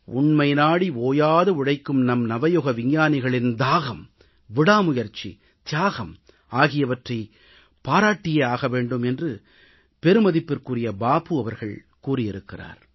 உண்மை நாடி ஓயாது உழைக்கும் நம் நவயுக விஞ்ஞானிகளின் தாகம் விடாமுயற்சி தியாகம் ஆகியவற்றைப் பாராட்டியே ஆக வேண்டும் என்று பெருமதிப்பிற்குரிய பாபு அவர்கள் கூறியிருக்கிறார்